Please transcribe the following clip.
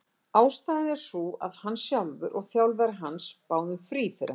Ástæðan er sú að hann sjálfur og þjálfari hans báðu um frí fyrir hann.